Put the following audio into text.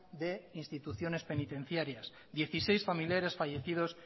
de instituciones penitenciarias dieciséis familiares fallecidos